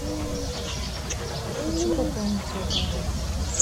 хочу пополнить свой баланс